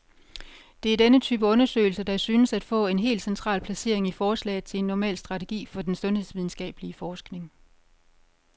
Det er denne type undersøgelser, der synes at få et helt central placering i forslaget til en normal strategi for den sundhedsvidenskabelig forskning.